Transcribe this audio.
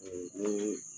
ni